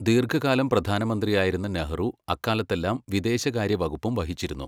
ദീർഘകാലം പ്രധാനമന്ത്രിയായിരുന്ന നെഹ്റു അക്കാലത്തെല്ലാം വിദേശകാര്യ വകുപ്പും വഹിച്ചിരുന്നു.